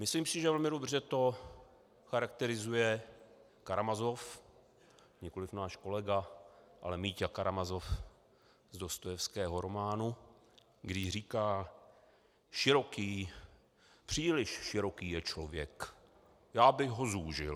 Myslím si, že velmi dobře to charakterizuje Karamazov, nikoli náš kolega, ale Míťa Karamazov z Dostojevského románu, když říká: Široký, příliš široký je člověk, já bych ho zúžil.